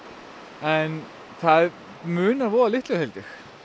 en það munar voða litlu held ég